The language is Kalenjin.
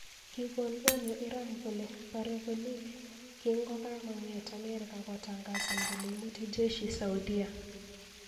Kikon onyo Iran kole porei kolik kingokakong'et Amerika kotangazan kole imuti Jeshi Saudia